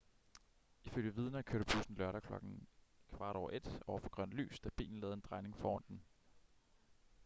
ifølge vidner kørte bussen lørdag klokken 01:15 over for grønt lys da bilen lavede en drejning foran den